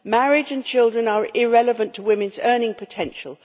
Marriage and children are irrelevant to women's earning potential.